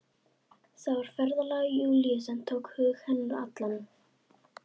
Það var ferðalag Júlíu sem tók hug hennar allan.